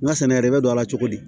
N ka sɛnɛ yɛrɛ bɛ don a la cogo di